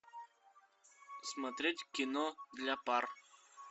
смотреть кино для пар